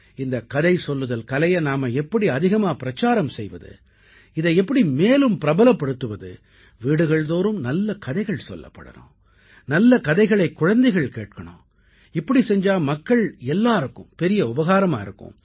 இந்தக் கதை சொல்லுதல் கலையை நாம எப்படி அதிகமா பிரச்சாரம் செய்வது இதை எப்படி மேலும் பிரபலப்படுத்துவது வீடுகள்தோறும் நல்ல கதைகள் சொல்லப்படணும் நல்ல கதைகளைக் குழந்தைகள் கேட்கணும் இப்படி செஞ்சா மக்கள் அனைவருக்கும் பெரிய உபகாரமா இருக்கும்